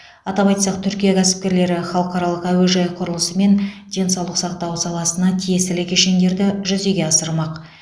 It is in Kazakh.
атап айтсақ түркия кәсіпкерлері халықаралық әуежай құрылысы мен денсаулық сақтау саласына тиесілі кешендерді жүзеге асырмақ